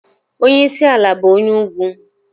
Onyeisi ala bụ onye ugwu.